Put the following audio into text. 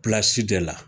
de la